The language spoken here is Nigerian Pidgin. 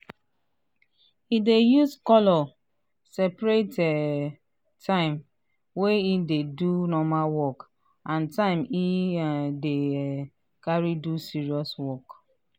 he dey use colour separate um time wey he dey do normal work and time he um dey um carry do serious work.